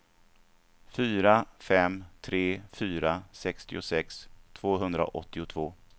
fyra fem tre fyra sextiosex tvåhundraåttiotvå